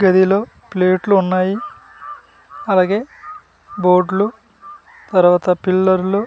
గదిలో ప్లేట్లు ఉన్నాయి అలాగే బోర్డులు తరువాత పిల్లర్లు --